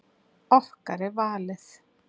Okkar er valið.